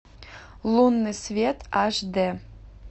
лунный свет аш д